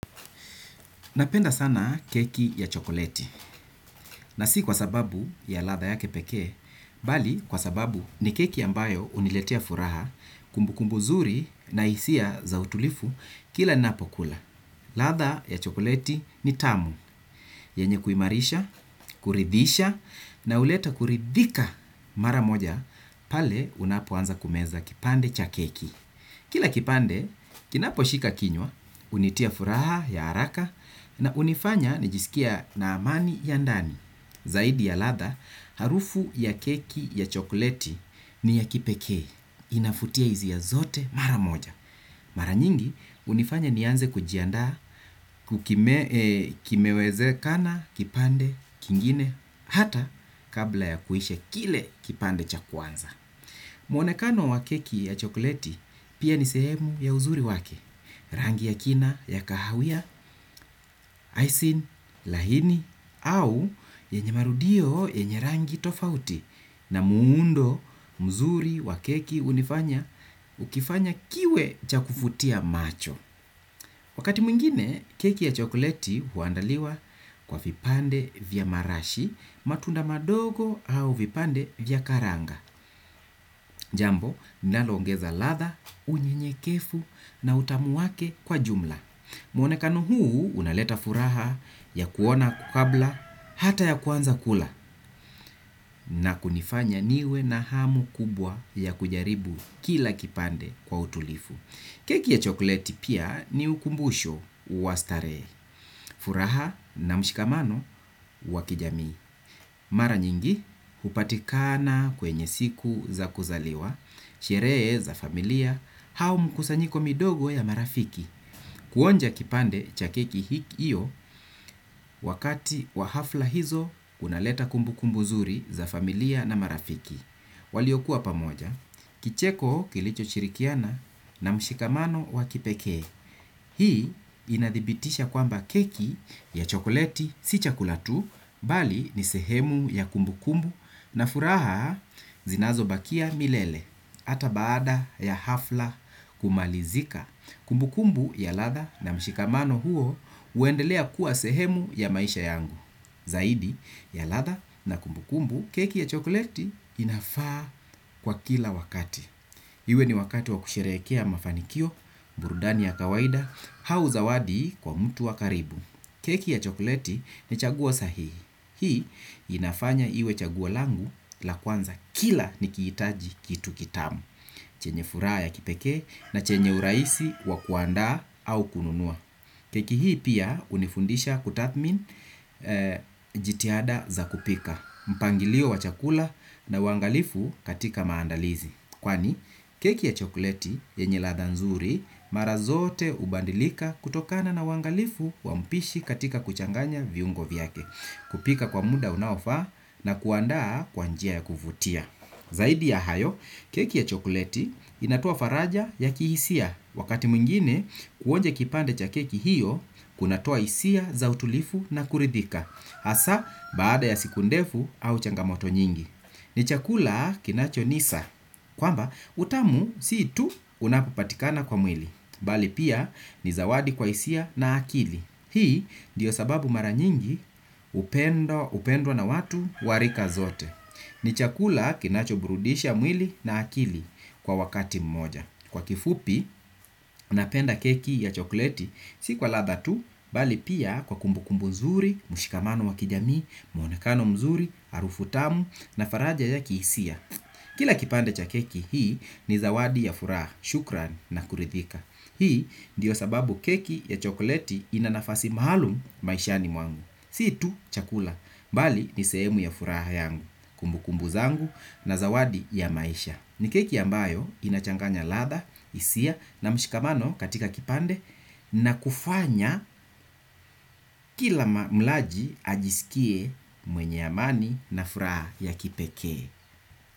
Napenda sana keki ya chokoleti na si kwa sababu ya ladha yake pekee, bali kwa sababu ni keki ambayo huniletea furaha kumbukumbu zuri na hisia za utulivu kila napo kula. Ladha ya chokoleti ni tamu, yenye kuimarisha, kuridhisha na huleta kuridhika mara moja pale unapoanza kumeza kipande cha keki. Kila kipande, kinapo shika kinywa, hunitia furaha ya haraka na hunifanya nijisikie na amani ya ndani. Zaidi ya ladha, harufu ya keki ya chokoleti ni ya kipekee. Inavutia hisia zote mara moja. Mara nyingi, hunifanya nianze kujiandaa, kuki kimewezekana, kipande, kingine, hata kabla ya kuishq kile kipande cha kwanza. Mwonekano wa keki ya chokoleti pia ni sehemu ya uzuri wake, rangi ya kina ya kahawia, icing, lahini au yenye marudio yenye rangi tofauti na muundo mzuri wa keki hunifanya hukifanya kiwe cha kuvutia macho. Wakati mwingine, keki ya chokoleti huandaliwa kwa vipande vya marashi, matunda madogo au vipande vya karanga. Jambo, lonaloongeza ladha, unyenyekevu na utamu wake kwa jumla. Mwonekano huu, unaleta furaha ya kuona kabla, hata ya kwanza kula na kunifanya niwe na hamu kubwa ya kujaribu kila kipande kwa utulivu. Keki ya chokoleti pia ni ukumbusho wa starehe, furaha na mshikamano wa kijami. Mara nyingi, hupatikana kwenye siku za kuzaliwa, sherehe za familia, au mkusanyiko midogo ya marafiki. Kuonja kipande cha keki hiki iyo wakati wa hafla hizo kunaleta kumbukumbu zuri za familia na marafiki. Waliokuwa pamoja, kicheko kilicho shirikiana na mshikamano wa kipekee. Hii inadhibitisha kwamba keki ya chokoleti si chakula tu, bali ni sehemu ya kumbu kumbu na furaha zinazo bakia milele. Hata baada ya hafla kumalizika, kumbukumbu ya latha na mshikamano huo huendelea kuwa sehemu ya maisha yangu. Zaidi ya ladha na kumbu kumbu, keki ya chokoleti inafaa kwa kila wakati. Iwe ni wakati wa kusherehekea mafanikio, burudani ya kawaida, au zawadi kwa mtu wa karibu keki ya chokoleti ni chagua sahihi. Hii inafanya iwe chaguo langu la kwanza kila nikihitaji kitu kitamu. Chenye furaha ya kipekee na chenye urahisi wa kuandaa au kununua. Keki hii pia hunifundisha kutathmin jitihada za kupika mpangilio wa chakula na uangalifu katika maandalizi. Kwani keki ya chokoleti yenye ladha nzuri mara zote hubadilika kutokana na uangalifu wa mpishi katika kuchanganya viungo vyake, kupika kwa muda unaofa na kuandaa kwa njia ya kuvutia. Zaidi ya hayo keki ya chokoleti inatoa faraja ya kihisia wakati mwingine kuonja kipande cha keki hiyo kunatoa hisia za utulivu na kuridhika. Hasa baada ya siku ndefu au changamoto nyingi. Ni chakula kinacho nisa. Kwamba utamu si tu unapopatikana kwa mwili. Bali pia ni zawadi kwa hisia na akili. Hii ndiyo sababu mara nyingi upendo hupendwa na watu wa rika zote. Ni chakula kinacho burudisha mwili na akili kwa wakati mmoja. Kwa kifupi, napenda keki ya chokleti, si kwa ladha tu, bali pia kwa kumbu kumbu nzuri, mshikamano wa kijami, muonekano mzuri, harufu tamu, na faraja ya kihisia. Kila kipande cha keki hii ni zawadi ya furaha, shukran na kuridhika. Hii ndiyo sababu keki ya chokleti ina nafasi maalum maishani mwangu. Si tu chakula, bali ni sehemu ya furaha yangu, kumbu kumbu zangu na zawadi ya maisha. Ni keki ambayo inachanganya ladha, hisia na mshikamano katika kipande na kufanya kila mlaji ajisikie mwenye amani na furaha ya kipekee.